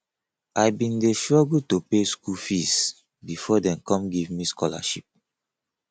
i bin dey struggle to pay skool fees before dey come give me scholarship